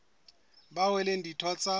bao e leng ditho tsa